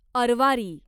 Arwari